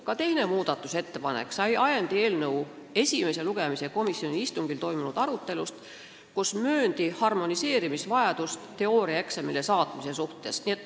Ka teine muudatusettepanek oli ajendatud eelnõu esimese lugemise istungil toimunud arutelust, kus mööndi vajadust teooriaeksamile saatmise nõuded harmoneerida.